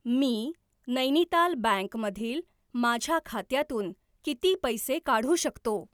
मी Nainital bank मधील माझ्या खात्यातून किती पैसे काढू शकतो?